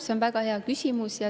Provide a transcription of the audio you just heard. See on väga hea küsimus.